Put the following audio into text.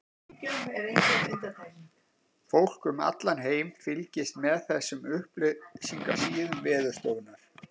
Fólk um allan heim fylgist með þessum upplýsingasíðum Veðurstofunnar.